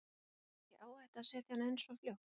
Var ekki áhætta að setja hana inn svo fljótt?